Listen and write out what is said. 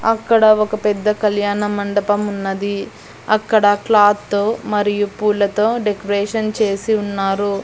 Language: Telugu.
అక్కడ ఒక పెద్ద కళ్యాణ మండపం ఉన్నది అక్కడ క్లాత్ తో మరియు పూలతో డెకరేషన్ చేసి ఉన్నారు.